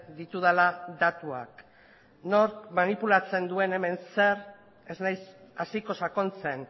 ditudala datuak nork manipulatzen duen hemen zer ez naiz hasiko sakontzen